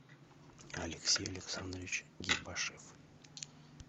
алексей александрович гибашев